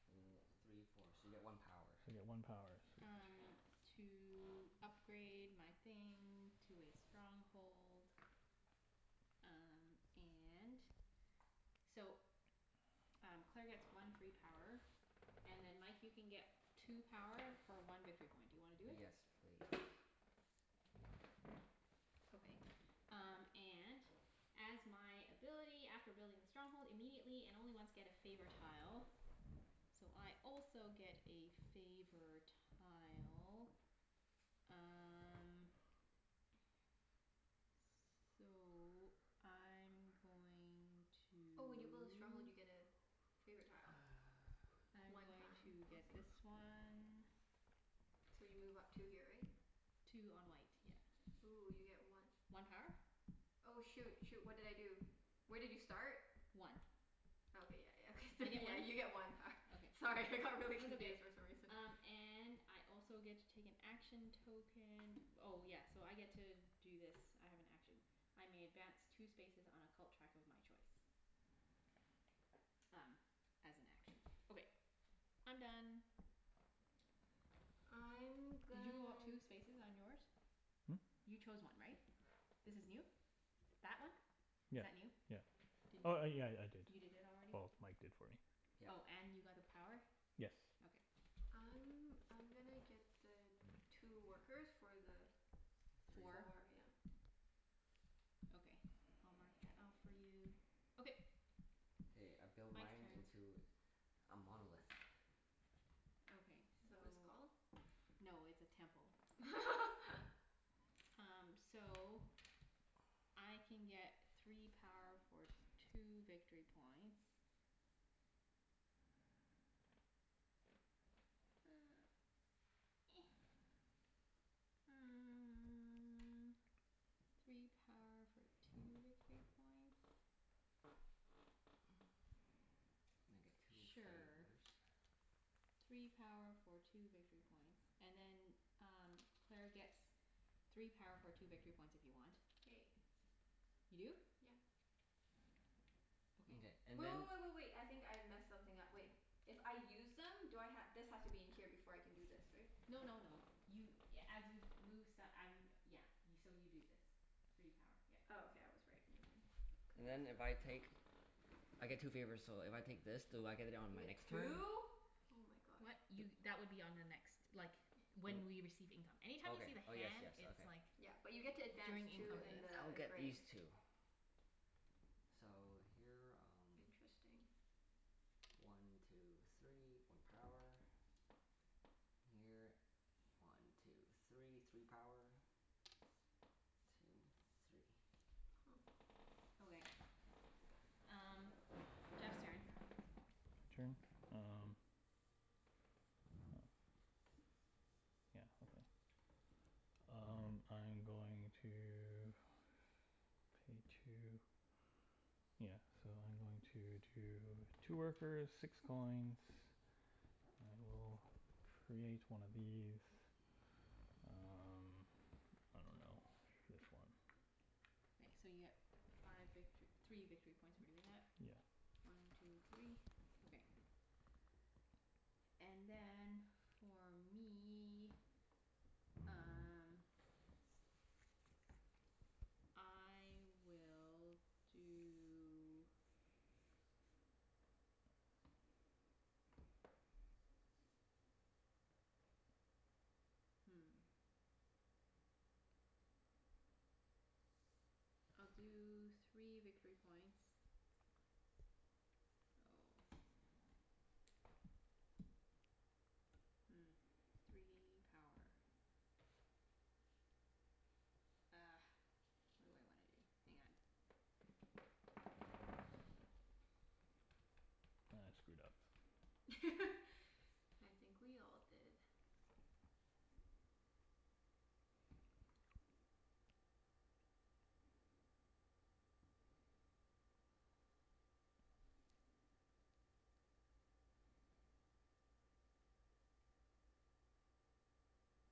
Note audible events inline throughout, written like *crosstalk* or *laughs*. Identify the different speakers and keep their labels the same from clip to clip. Speaker 1: yeah.
Speaker 2: o- three four. So you get one power.
Speaker 1: So you get one power. Sweet.
Speaker 3: um to upgrade my thing to a stronghold. Um and so um Claire
Speaker 1: *noise*
Speaker 3: gets one free power. And then Mike, you can get two power for one victory point. Do you wanna do it?
Speaker 2: Yes please.
Speaker 3: Okay. Um and as my ability after building a stronghold immediately, and only once, get a favor tile. So I also get a favor tile. Um
Speaker 4: *noise*
Speaker 3: So I'm going to
Speaker 4: Oh, when you build a stronghold you get a favorite tile.
Speaker 2: *noise*
Speaker 3: I'm
Speaker 4: One
Speaker 3: going
Speaker 4: time. I
Speaker 3: to
Speaker 4: see.
Speaker 3: get this one.
Speaker 1: *noise*
Speaker 4: So you move up two here, right?
Speaker 3: Two on white,
Speaker 4: Ooh, you get
Speaker 3: yeah.
Speaker 4: one
Speaker 3: One power?
Speaker 4: Oh, shoot, shoot. What did I do? Where did you start?
Speaker 3: One. I
Speaker 4: Oh okay, yeah, yeah. Okay
Speaker 3: get
Speaker 4: thr-
Speaker 3: one?
Speaker 4: yeah, you get one power.
Speaker 3: Okay.
Speaker 4: Sorry, I got really confused for some reason.
Speaker 3: Um and I also get to take an action token. Oh yes, so I get to do this. I have an action. I may advance two spaces on a cult track of my choice. Um as an action. Okay, I'm done.
Speaker 4: I'm
Speaker 3: Did you
Speaker 4: gonna
Speaker 3: go up two spaces on yours?
Speaker 1: Hmm?
Speaker 3: You chose one, right? This is new? That one?
Speaker 1: Yeah
Speaker 3: Is that
Speaker 1: yeah.
Speaker 3: new? Did
Speaker 1: Oh oh
Speaker 3: y-
Speaker 1: yeah, I
Speaker 3: you
Speaker 1: did.
Speaker 3: did it already?
Speaker 1: Well, Mike did for me.
Speaker 2: Yep.
Speaker 3: Oh, and you got
Speaker 1: Yes.
Speaker 3: the power? Okay.
Speaker 4: I'm I'm gonna get the two workers for the
Speaker 2: Three.
Speaker 4: four, yeah.
Speaker 3: Four? Okay. I'll mark that off
Speaker 1: *noise*
Speaker 3: for you. Okay.
Speaker 2: K, I build
Speaker 3: Mike's
Speaker 2: mine
Speaker 3: turn.
Speaker 2: into a monolith.
Speaker 3: Okay,
Speaker 4: Is that what it's
Speaker 3: so
Speaker 4: called?
Speaker 3: no, it's a temple.
Speaker 4: *laughs*
Speaker 3: Um so I can
Speaker 1: *noise*
Speaker 2: *noise*
Speaker 3: get three power for two victory points. *noise* Three power for two victory points?
Speaker 2: And I get two favors.
Speaker 3: Sure. Three power for two victory points. And then um Claire gets three power for two victory points if you want.
Speaker 4: K.
Speaker 3: You do?
Speaker 4: Yep.
Speaker 2: Mkay,
Speaker 3: Okay.
Speaker 2: and
Speaker 4: Wait,
Speaker 2: then
Speaker 4: wait, wait, wait, wait. I think I messed something up. Wait. If I use them do I ha- this has to be in here before I can do this, right?
Speaker 3: No no no, you a- as you move st- I mean, yeah. So you do this. Three power. Yep.
Speaker 4: Oh, okay, I was right. Never mind.
Speaker 2: And then if I take, I get two favors, so if I take this do I get it on
Speaker 4: You
Speaker 2: my
Speaker 4: get
Speaker 2: next turn?
Speaker 4: two? Oh my gosh.
Speaker 3: What?
Speaker 2: D-
Speaker 3: Y- that would be on the next, like,
Speaker 2: W-
Speaker 3: when we receive income.
Speaker 2: Okay.
Speaker 3: Anytime you see the
Speaker 2: Oh yes,
Speaker 3: hand
Speaker 2: yes.
Speaker 3: it's
Speaker 2: Okay.
Speaker 3: like
Speaker 4: Yeah, but you get to advance
Speaker 3: during
Speaker 2: Mkay.
Speaker 3: income
Speaker 4: two in
Speaker 3: phase.
Speaker 2: I'll
Speaker 4: the
Speaker 2: get
Speaker 4: gray.
Speaker 2: these two. So, here um
Speaker 4: Interesting.
Speaker 2: One two three. One power. Here. One two three. Three power. Two three.
Speaker 4: Huh.
Speaker 3: Okay. Um Jeff's turn.
Speaker 1: My turn? Um Yeah, okay. Um I'm going to Pay two, yeah. So I'm going to two Two workers, six coins. And we'll create one of these. Um I dunno. This one.
Speaker 3: So you get five victor- three victory points for doing that.
Speaker 1: Yeah.
Speaker 3: One two three. Okay. And then, for me um I will do Hmm. I'll do three victory points. Oh. Hmm, three power. Ah, what do I wanna do? Hang on.
Speaker 1: I screwed up.
Speaker 4: *laughs* I think we all did.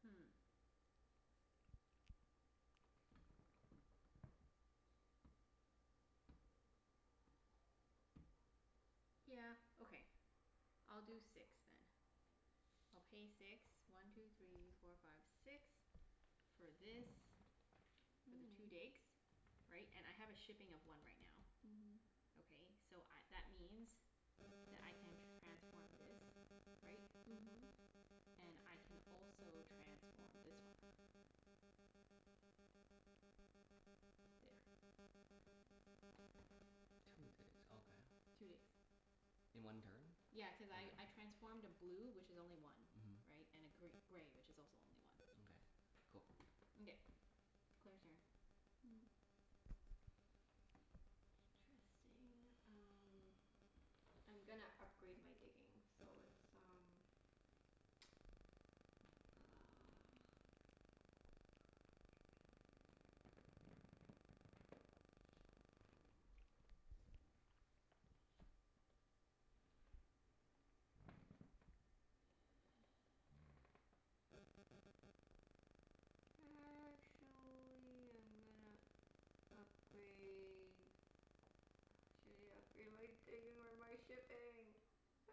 Speaker 3: Hmm. Yeah, okay. I'll do six then. I'll pay six. One two three four five six. For this. For the two
Speaker 4: Mm.
Speaker 3: digs. Right? And I have a shipping of one right now.
Speaker 4: Mhm.
Speaker 3: Okay, so I, that means that I can transform this, right? And
Speaker 4: Mhm.
Speaker 3: I can also transform this one. There.
Speaker 2: Two digs. Okay.
Speaker 3: Two digs.
Speaker 2: In one turn?
Speaker 3: Yeah, cuz I I
Speaker 2: Okay.
Speaker 3: transformed
Speaker 4: *noise*
Speaker 3: a blue, which is only one.
Speaker 2: Mhm.
Speaker 3: Right? And a gr- gray, which is also only one.
Speaker 2: Mkay. Cool.
Speaker 3: Mkay. Claire's turn.
Speaker 4: Hmm. Interesting. Um I'm gonna upgrade my digging so it's um *noise* uh
Speaker 1: *noise*
Speaker 4: *noise* Actually I'm gonna upgrade Uh, should I upgrade my digging or my shipping? *noise*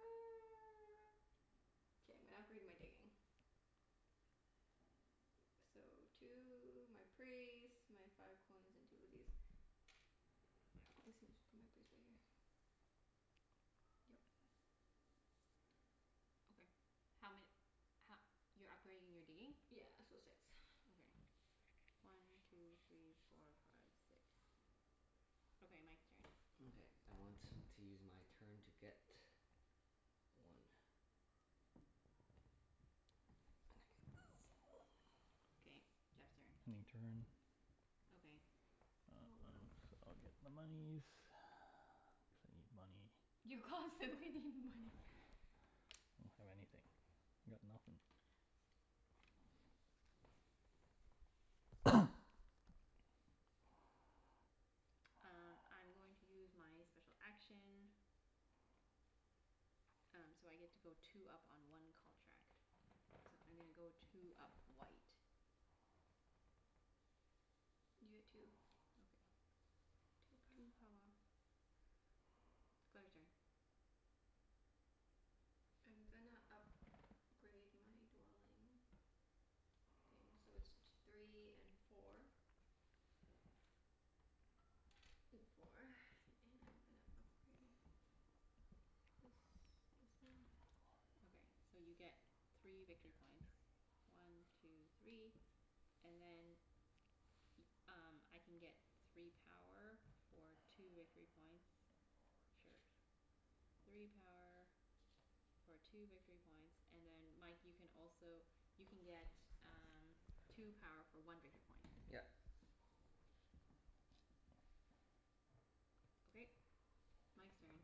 Speaker 4: K, I'm gonna upgrade my digging. So two, my priest, my five coins, and two of these. *inaudible* Yep.
Speaker 3: Okay. How ma- ho- You're upgrading your digging?
Speaker 4: Yeah, so six. *noise*
Speaker 3: Okay. One two three four five six. Okay, Mike's turn.
Speaker 2: Mkay. I want to use my turn to get one. And I get this. *noise*
Speaker 3: Okay, Jeff's turn.
Speaker 1: Ending turn.
Speaker 3: Okay.
Speaker 4: Oh, wow.
Speaker 1: *noise* I'll get the monies *noise* cuz I need money.
Speaker 4: You constantly need money.
Speaker 1: I don't have anything. I got nothin'.
Speaker 2: *noise*
Speaker 1: *noise*
Speaker 3: Um I'm going to use my special action. Um so I get to go two up on one cult track. So I'm gonna go two up white.
Speaker 4: You get two.
Speaker 3: Okay.
Speaker 4: Two power.
Speaker 3: Two power. Claire's turn.
Speaker 4: I'm gonna up grade my dwelling thing, so it's t- three and four. *noise* Four *noise* and I'm gonna upgrade this this one.
Speaker 3: Okay, so you get three
Speaker 1: Two
Speaker 3: victory
Speaker 1: three.
Speaker 3: points. One two three, and then Y- um I can get three power for two victory
Speaker 1: *noise*
Speaker 3: points.
Speaker 1: Or
Speaker 3: Sure.
Speaker 1: a church.
Speaker 3: Three power for two victory points, and then Mike you can also you can get um two power for one victory point.
Speaker 2: Yep.
Speaker 3: Okay, Mike's turn.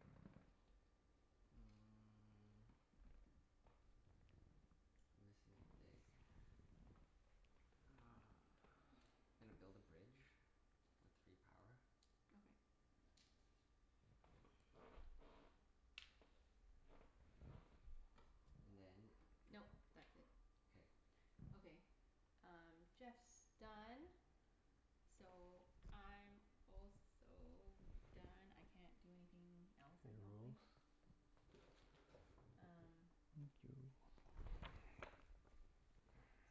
Speaker 2: Mm. I'm missing a dig. Uh
Speaker 4: *noise*
Speaker 2: gonna build a bridge. With three power.
Speaker 3: Okay.
Speaker 2: *noise* And then
Speaker 3: Nope, that's it.
Speaker 2: K.
Speaker 3: Okay. Um Jeff's done. So I'm also done. I can't do anything else,
Speaker 1: Their
Speaker 3: I don't
Speaker 1: rules.
Speaker 3: think. Um
Speaker 1: Thank you.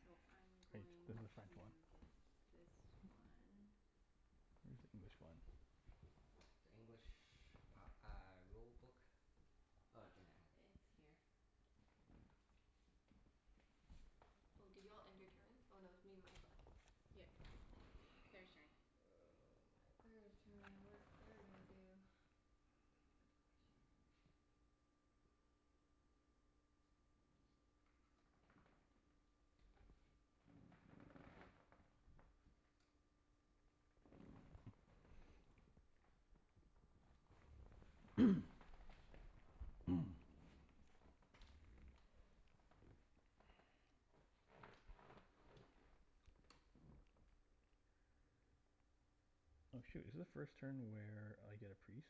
Speaker 3: So I'm
Speaker 1: Hey, this is
Speaker 3: going
Speaker 1: the French one.
Speaker 3: to get this one.
Speaker 1: Where's the English one?
Speaker 2: The English p- uh rulebook? Oh, Junette has it.
Speaker 3: Uh it's here.
Speaker 4: Oh, did you all end your turn? Oh no, it's me and Mike left.
Speaker 3: Yep. Claire's turn.
Speaker 4: Oh my, Claire's turn. What is Claire gonna do? T- good question.
Speaker 2: *noise*
Speaker 1: *noise* *noise* *noise* Oh shoot, is the first turn where I get a priest?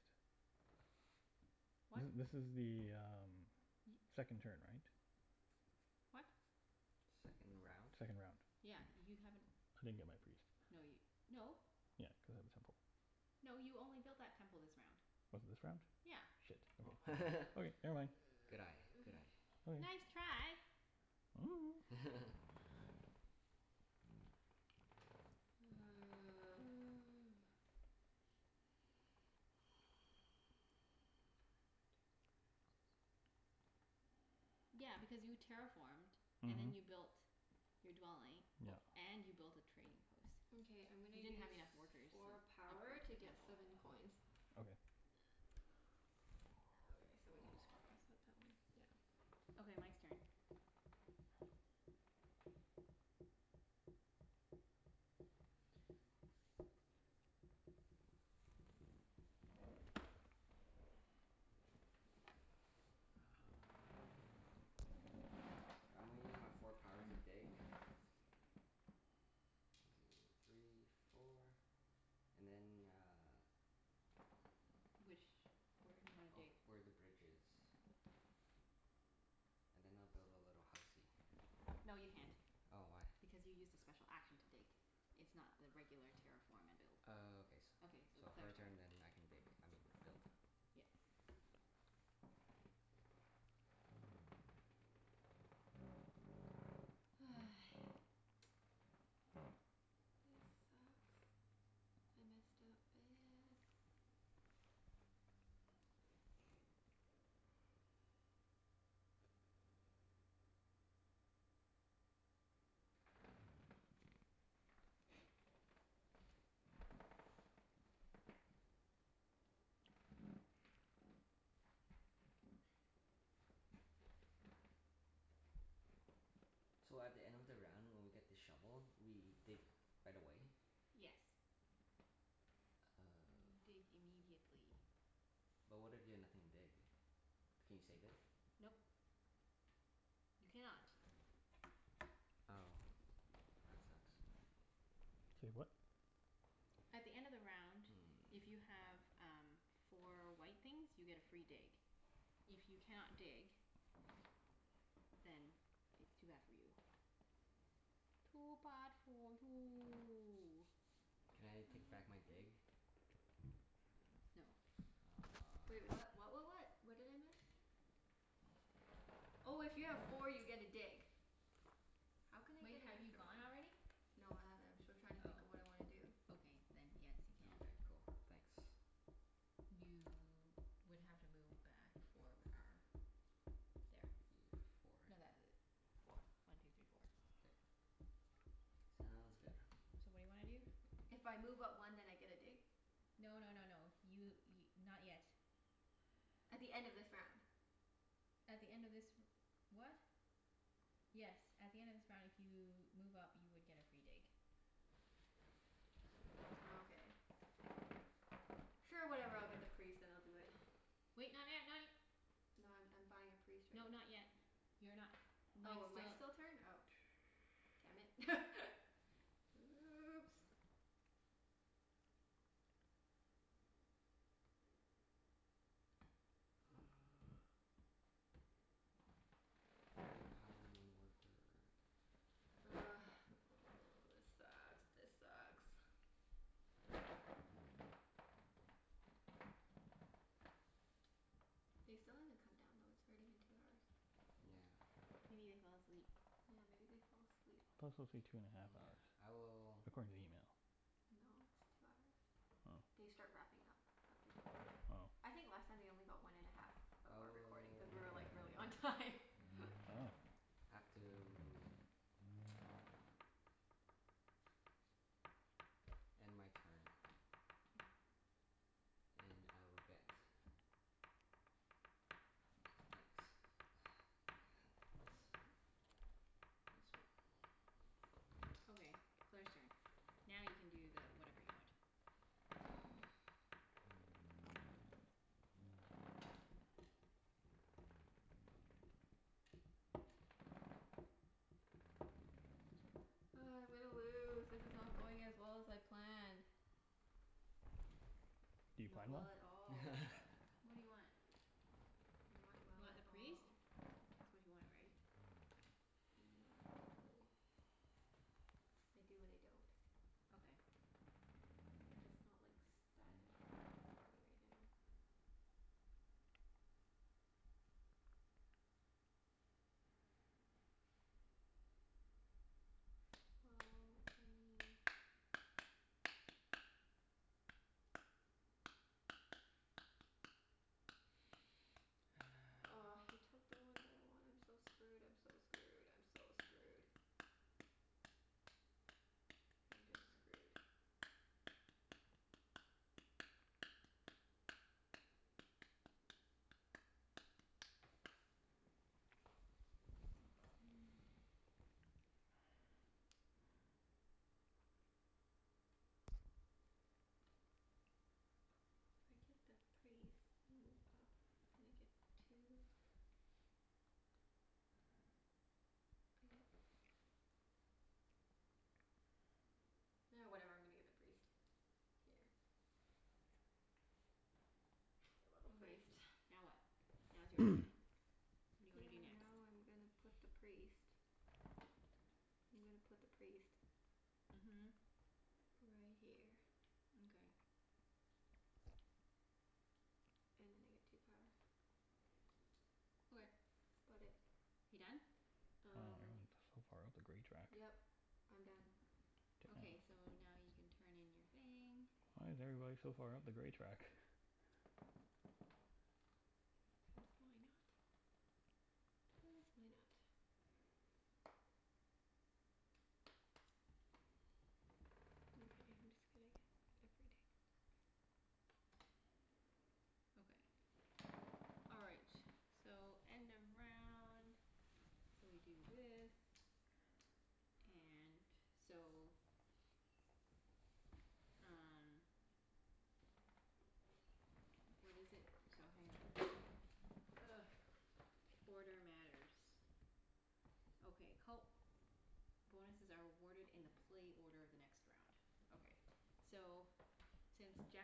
Speaker 3: What?
Speaker 1: This this is the um second turn, right?
Speaker 3: What?
Speaker 2: Second round?
Speaker 1: Second round.
Speaker 3: Yeah, you haven't,
Speaker 1: I didn't get my priest.
Speaker 3: no y- no.
Speaker 1: Yeah, cuz I have a temple.
Speaker 3: No, you only built that temple this round.
Speaker 1: Was it this round?
Speaker 3: Yeah.
Speaker 1: Shit.
Speaker 2: Oh. *laughs*
Speaker 1: Okay. Okay, never mind.
Speaker 2: Good eye. Good eye.
Speaker 4: *noise*
Speaker 1: Okay.
Speaker 3: Nice try.
Speaker 1: *noise*
Speaker 2: *laughs*
Speaker 4: *noise* Five.
Speaker 2: *noise*
Speaker 4: One two three four five six seven eight.
Speaker 3: Yeah, because you terraformed and
Speaker 1: Mhm.
Speaker 3: then you built your dwelling, o-
Speaker 1: Yep.
Speaker 3: and you built a trading post.
Speaker 4: Mkay, I'm gonna
Speaker 3: You didn't
Speaker 4: use
Speaker 3: have enough workers to
Speaker 4: four power
Speaker 3: upgrade to
Speaker 4: to
Speaker 3: a
Speaker 4: get
Speaker 3: temple.
Speaker 4: seven coins.
Speaker 1: Okay.
Speaker 4: *noise* Okay, so we can just cross out that one. Yeah.
Speaker 3: Okay, Mike's turn.
Speaker 2: Uh I'm gonna use my four power to dig. One two three four. And then uh
Speaker 3: Which, where do you wanna
Speaker 2: Ov-
Speaker 3: dig?
Speaker 2: where the bridge is. And then I'll build a little housey.
Speaker 3: No, you can't,
Speaker 2: Oh, why?
Speaker 3: because you used a special action to dig. It's not the regular terraform and build.
Speaker 2: Oh, okay s-
Speaker 3: Okay, so
Speaker 2: so her
Speaker 3: Claire's
Speaker 2: turn
Speaker 3: turn.
Speaker 2: and then I can dig. I mean build.
Speaker 3: Yep.
Speaker 4: *noise* This sucks. I messed up bad.
Speaker 2: So at the end of the round when we get the shovel, we dig right away?
Speaker 4: *noise*
Speaker 3: Yes, you dig
Speaker 2: Oh.
Speaker 3: immediately.
Speaker 2: But what if you have nothing to dig? Can you save it?
Speaker 3: Nope. You cannot.
Speaker 2: Oh, that sucks.
Speaker 1: Say what?
Speaker 3: At the end of the round, if you
Speaker 2: Mm.
Speaker 3: have um four white things you get a free dig. If you cannot dig then it's too bad for you. Too bad for you.
Speaker 2: Can I take back my dig?
Speaker 4: *inaudible*
Speaker 3: No.
Speaker 4: Wait,
Speaker 2: Oh.
Speaker 4: what what what what? What did I miss? Oh, if you have four you get a dig. How can I
Speaker 3: Wait,
Speaker 4: get an
Speaker 3: have you
Speaker 4: extra one?
Speaker 3: gone already?
Speaker 4: No, I haven't. I'm still trying to think of what I wanna do.
Speaker 3: Oh, okay, then yes, you
Speaker 2: Oh,
Speaker 3: can.
Speaker 2: okay. Cool. Thanks.
Speaker 3: You would have to move back four
Speaker 2: Four.
Speaker 3: power. There.
Speaker 2: Y- four.
Speaker 3: No, th- four. One two three four.
Speaker 2: K.
Speaker 4: *noise*
Speaker 2: Sounds good.
Speaker 3: So what do you wanna do?
Speaker 4: If I move up one then I get a dig?
Speaker 3: No no no no. You y- not yet.
Speaker 4: At the end of this round.
Speaker 3: At the end of this r- what? Yes, at the end of this round if you move up you would get a free dig.
Speaker 4: Nokay. Sure, whatever. I'll get the priest and I'll do it. *noise*
Speaker 3: Wait, not yet, not y-
Speaker 4: No, I'm I'm buying a priest right
Speaker 3: No, not
Speaker 4: now.
Speaker 3: yet. You're not, Mike's
Speaker 4: Oh, Mike's
Speaker 3: still
Speaker 4: still turn? Oh. Damn it. *laughs*
Speaker 1: *noise*
Speaker 4: Oops.
Speaker 2: Uh Three power one worker.
Speaker 4: Ugh, *noise* this sucks. This sucks.
Speaker 2: *noise*
Speaker 4: They still haven't come down, though. It's already been two hours.
Speaker 2: Yeah.
Speaker 3: Maybe they fell asleep?
Speaker 4: Yeah, maybe they fell asleep.
Speaker 1: It could also take two and a half hours,
Speaker 2: Yeah. I will
Speaker 1: according to the email.
Speaker 4: No, it's two hours.
Speaker 1: Oh.
Speaker 4: They start wrapping up after two hours.
Speaker 1: Oh.
Speaker 4: I think last time they only got one and a half of our recording cuz we were like really on
Speaker 2: Oh.
Speaker 4: time. *laughs*
Speaker 1: Oh.
Speaker 2: Have to *noise* End my turn.
Speaker 4: *noise*
Speaker 2: And I will get *noise* Thanks. *noise* This one.
Speaker 3: Okay, Claire's turn. Now you can do the whatever you want.
Speaker 4: *noise* Ugh, I'm gonna lose. This is not going as well as I planned.
Speaker 1: Do you
Speaker 4: Not
Speaker 1: plan well?
Speaker 4: well at all.
Speaker 2: *laughs*
Speaker 3: What do you want?
Speaker 4: Not
Speaker 3: You
Speaker 4: well
Speaker 3: want
Speaker 4: at
Speaker 3: the priest?
Speaker 4: all.
Speaker 3: That's what you wanted, right?
Speaker 4: Not really. I do and I don't.
Speaker 3: Okay.
Speaker 4: It's not like s- that important that I do it right now. Well, I mean Oh, he
Speaker 2: *noise*
Speaker 4: took the one that I wanted. I'm so screwed, I'm so screwed, I'm so screwed. I'm just screwed. *noise* If I get the priest and move up, then I get two I Ah, whatever, I'm gonna get the priest. Here. *noise* A little
Speaker 3: Okay,
Speaker 4: priest.
Speaker 3: now what? Now it's your turn.
Speaker 2: *noise*
Speaker 1: *noise*
Speaker 3: What do you wanna do
Speaker 4: Yeah,
Speaker 3: next?
Speaker 4: now I'm gonna put the priest I'm gonna put the priest
Speaker 3: Mhm.
Speaker 4: right here.
Speaker 3: Mkay.
Speaker 4: And then I get two power.
Speaker 3: Okay.
Speaker 4: That's about it.
Speaker 3: You done?
Speaker 1: Wow,
Speaker 4: Um
Speaker 1: everyone is so far up the gray track.
Speaker 4: Yep, I'm done.
Speaker 1: Damn.
Speaker 3: Okay, so now you can turn in your thing.
Speaker 1: Why is everybody so far up the gray track? *laughs*
Speaker 4: Cuz why not? Cuz why not? Mkay, I'm just gonna get every dig.
Speaker 3: Okay. All right, so end of round. So we do this, and so Um What is it? So hang on. Ugh. Order matters. Okay, cult bonuses are awarded in the play order of the next round. Okay.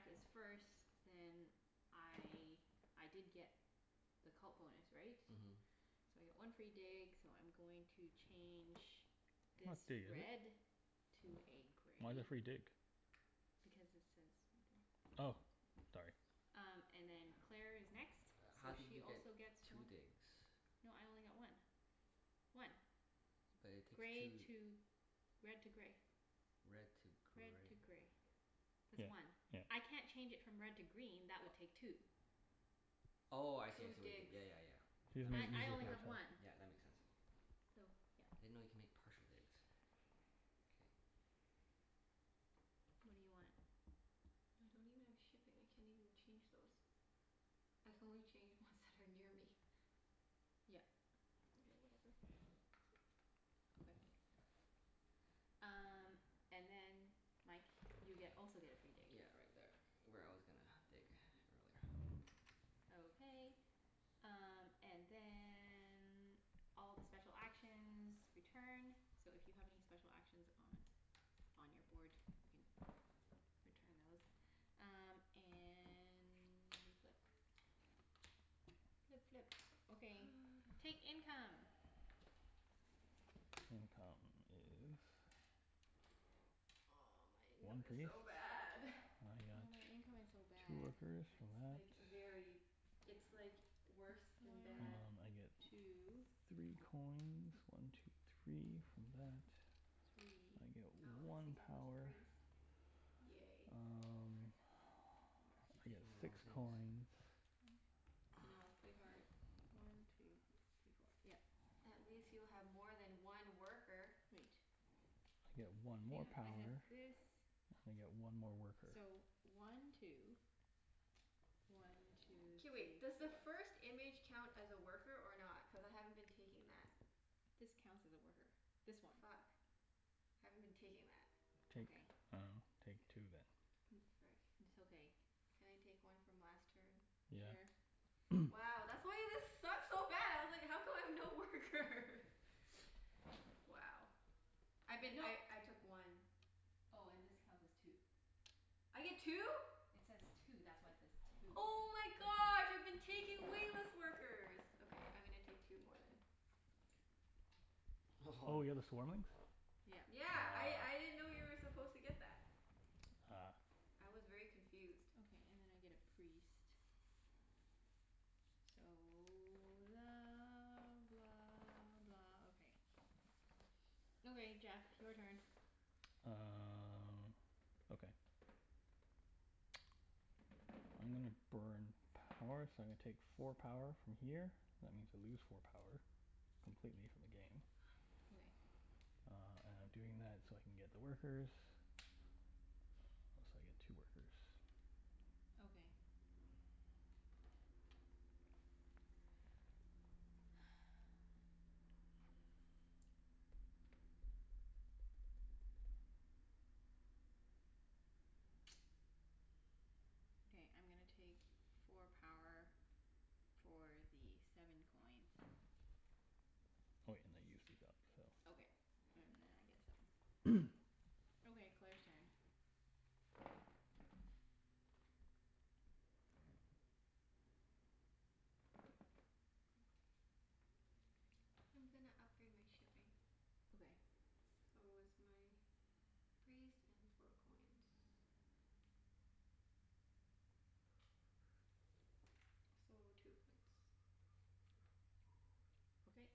Speaker 3: So since Jeff is first then I, I did get the cult bonus, right?
Speaker 2: Mhm.
Speaker 3: So I get one free dig so I'm going to change
Speaker 1: Not
Speaker 3: this
Speaker 1: dig,
Speaker 3: red. To
Speaker 1: is it?
Speaker 3: a
Speaker 1: Why the
Speaker 3: gray.
Speaker 1: free dig?
Speaker 3: Because it says right there.
Speaker 1: Oh, sorry.
Speaker 3: Um and then Claire is next,
Speaker 2: Uh how
Speaker 3: so
Speaker 2: did
Speaker 3: she
Speaker 2: you get
Speaker 3: also gets
Speaker 2: two
Speaker 3: one.
Speaker 2: digs?
Speaker 3: No, I only got one. One.
Speaker 2: But it takes
Speaker 3: Gray
Speaker 2: two
Speaker 3: to, red to gray.
Speaker 2: Red to
Speaker 3: Red
Speaker 2: gray.
Speaker 3: to gray. That's
Speaker 1: Yeah
Speaker 3: one.
Speaker 1: yeah.
Speaker 3: I can't change it from red to green. That would
Speaker 2: *noise*
Speaker 3: take two.
Speaker 2: Oh, I see I
Speaker 4: Two
Speaker 2: see what you did.
Speaker 4: digs.
Speaker 2: Yeah yeah yeah.
Speaker 1: She
Speaker 2: That
Speaker 1: doesn't
Speaker 2: makes
Speaker 3: I
Speaker 2: sense.
Speaker 3: I only
Speaker 2: Yeah,
Speaker 3: have one.
Speaker 1: *inaudible*
Speaker 2: yeah, that makes sense.
Speaker 3: So, yeah.
Speaker 2: I didn't know you could make partial digs. K.
Speaker 3: What do you want?
Speaker 4: I don't even have shipping. I can't even change those. I can only change ones that are near me.
Speaker 3: Yep.
Speaker 4: Mkay, whatever. *noise*
Speaker 3: Okay. Um and then Mike you get also get a free dig.
Speaker 2: Yeah, right there where I was gonna *noise* dig *noise* earlier. *noise*
Speaker 3: Okay. Um and then all the special actions return. So if you have any special actions on on your board, you can return those. Um and we flip. Flip, flip. Okay, take
Speaker 4: *noise*
Speaker 3: income.
Speaker 1: *noise* Income is
Speaker 4: Oh, my income
Speaker 1: One
Speaker 4: is
Speaker 1: priests.
Speaker 4: so bad. *noise*
Speaker 1: And I got
Speaker 3: Yeah, my income is so
Speaker 1: two
Speaker 3: bad.
Speaker 1: workers for
Speaker 4: It's
Speaker 1: that.
Speaker 4: like very, it's like worse
Speaker 3: One
Speaker 4: than
Speaker 3: two.
Speaker 1: Um
Speaker 4: bad.
Speaker 1: I get three coins, one two three, from that. I
Speaker 3: Three.
Speaker 1: get
Speaker 4: Oh, at least I
Speaker 1: one
Speaker 4: get a little
Speaker 1: power.
Speaker 4: priest. Yay.
Speaker 2: Frick,
Speaker 1: Um
Speaker 2: I keep
Speaker 1: *noise* I get
Speaker 2: taking the wrong
Speaker 1: six
Speaker 2: things.
Speaker 1: coins.
Speaker 4: I
Speaker 3: I
Speaker 4: know. It's
Speaker 3: know,
Speaker 4: pretty hard.
Speaker 3: it's
Speaker 2: *noise*
Speaker 3: pretty hard. One two three four. Yep.
Speaker 4: At least you have more than one worker.
Speaker 3: Wait.
Speaker 1: I get
Speaker 3: Hang
Speaker 1: one more
Speaker 3: on.
Speaker 1: power.
Speaker 3: I had
Speaker 1: And I get one more
Speaker 3: this,
Speaker 1: worker.
Speaker 3: so one two, one two
Speaker 4: K,
Speaker 3: three
Speaker 4: wait. Does the first image count as a worker or not? Cuz I haven't been taking that.
Speaker 3: This counts as a worker. This one.
Speaker 4: Fuck. I haven't been taking that.
Speaker 1: Take, I dunno, take two then.
Speaker 4: *noise* Oh, frick.
Speaker 3: It's okay.
Speaker 4: Can I take one from last turn?
Speaker 3: Sure.
Speaker 1: Yeah. *noise*
Speaker 4: Wow, that's why this sucked so bad. I was like, how come I have no workers?
Speaker 1: *noise*
Speaker 4: Wow. I've been,
Speaker 3: No.
Speaker 4: I I took one.
Speaker 3: Oh, and this counts as two.
Speaker 4: I get two?
Speaker 3: It says two. That's why it says two.
Speaker 4: Oh my gosh, I've been taking way less workers. Okay, I'm gonna take two more then.
Speaker 1: Oh you got
Speaker 2: *laughs*
Speaker 1: the swarmlings?
Speaker 3: Yeah.
Speaker 4: Yeah. I
Speaker 1: Ah.
Speaker 4: I didn't know you were supposed to get that.
Speaker 1: Ah.
Speaker 4: I was very confused.
Speaker 3: Okay, and then I get a priest. So la blah blah, okay. Okay Jeff, your turn.
Speaker 1: Uh okay. I'm gonna burn power, so I'm gonna take four power from here. That means I lose four power completely from the game.
Speaker 3: Okay.
Speaker 4: *noise*
Speaker 1: Uh and I'm doing that so I can get the workers. Oh, so I get two workers.
Speaker 3: Okay.
Speaker 4: *noise*
Speaker 3: Okay, I'm gonna take four power for the seven coins.
Speaker 1: Oh yeah, and I
Speaker 3: Okay.
Speaker 1: *inaudible*
Speaker 3: And then I get seven.
Speaker 1: *noise*
Speaker 2: *noise*
Speaker 3: Okay, Claire's turn.
Speaker 4: *noise* I'm gonna upgrade my shipping.
Speaker 3: Okay.
Speaker 4: So it's my priest and four coins. So, two points.
Speaker 3: Okay.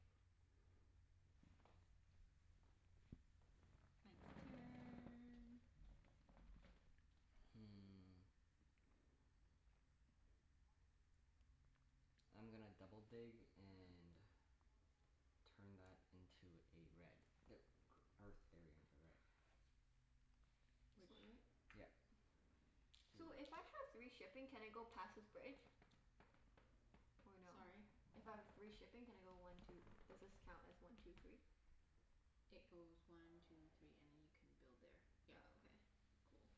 Speaker 3: Mike's turn.
Speaker 2: Hmm. I'm gonna double dig and turn that into a red. The e- earth area into a red.
Speaker 4: *noise* This
Speaker 3: Which
Speaker 4: one, right?
Speaker 2: Yep.
Speaker 4: *noise*
Speaker 2: Two.
Speaker 4: So, if I have three shipping can I go past this bridge? Or no?
Speaker 3: Sorry?
Speaker 4: If I have three shipping can I go one two, does this count as one two three?
Speaker 3: It goes one two three and then you can build there,
Speaker 4: Oh,
Speaker 3: yep.
Speaker 4: okay. Cool.